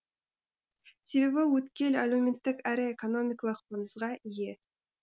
себебі өткел әлеуметтік әрі экономикалық маңызға ие